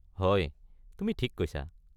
হয়, তুমি ঠিক কৈছা।